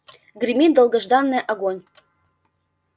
гремит долгожданное огонь